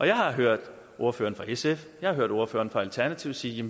jeg har hørt ordføreren for sf jeg har hørt ordføreren for alternativet sige